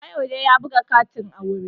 Kayode ya buga katin aure